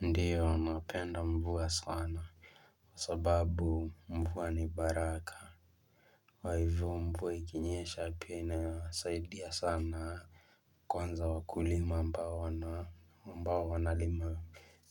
Ndiyo napenda mvua sana sababu mvua ni baraka kwa hivyo mvua ikinyesha pia inasaidia sana kwanza wakulima ambao wana amba wanalima